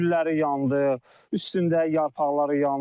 Gülləri yandı, üstündə yarpaqları yandı.